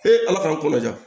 ala k'an ko laja